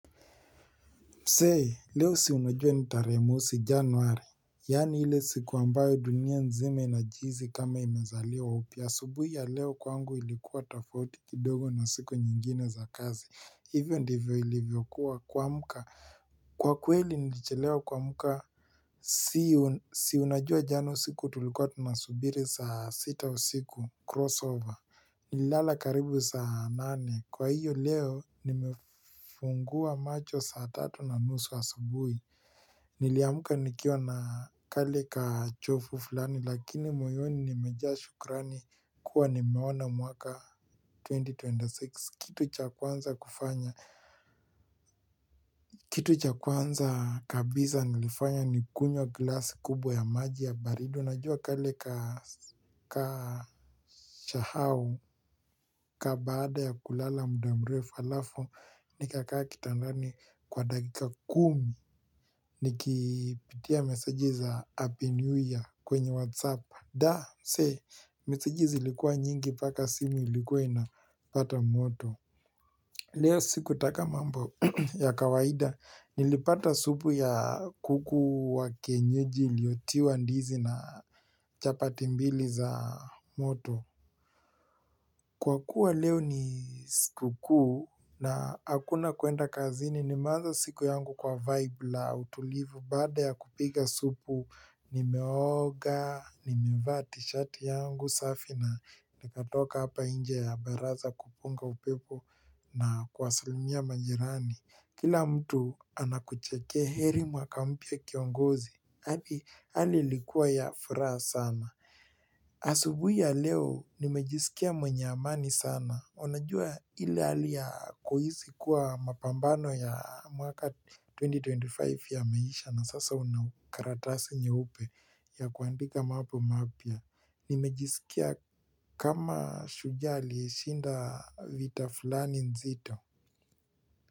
Mse, leo si unajua ni tarehe mosi januari. Yani ile siku ambayo dunia mzima inajizi kama imezaliwa upya. Asubuhi ya leo kwangu ilikuwa tafauti kidogo na siku nyingine za kazi. Hivyo ndivyo ilivyokuwa kuamka. Kwa kweli nilichelewa kuamka. Si unajua jana siku tulikuwa tunasubiri saa sita usiku crossover. Nililala karibu saa nane. Kwa hiyo leo nimefungua macho saa tatu na nusu asubui. Niliamka nikiwa na kale kachovu fulani Lakini moyoni nimejaa shukrani kuwa nimeona mwaka 2026 Kitu cha kwanza kufanya Kitu cha kwanza kabiza nilifanya ni kunywa glasi kubwa ya maji ya baridi. Unajua kale kashao ka baada ya kulala mda mrefu falafu Nikakaa kitandani kwa dakika kumi Nikipitia meseji za Happy New Year kwenye whatsapp Da, mse, meseji zilikuwa nyingi paka simu likuwa inapata moto Leo sikutaka mambo ya kawaida Nilipata supu ya kuku wa kienyeji iliyotiwa ndizi na chapati mbili za moto Kwa kuwa leo ni sikukuu na hakuna kuenda kazini. Nimeanza siku yangu kwa vibe la utulivu bada ya kupiga supu, nimeoga, nimevaa tishati yangu safi na nimetoka hapa inje ya baraza kupunga upepo na kuwasalimia majirani. Kila mtu anakucheke heri mwaka mpya kiongozi. Hali ilikua ya furaha sana. Asubui ya leo nimejisikia mwenye amani sana. Unajua ile hali ya kuhisi kuwa mapambano ya mwaka 2025 yameisha na sasa una karatasi nyeupe ya kuandika maapo mapya. Nimejisikia kama shujaa aliyeshinda vita fulani nzito.